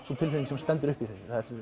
sú tilfinning sem stendur upp úr